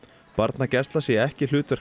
barnagæsla sé ekki hlutverk